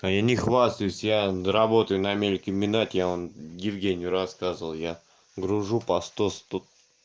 а я не хвастаюсь я работаю на мелькомбинате я вон евгению рассказывал я гружу по сто сто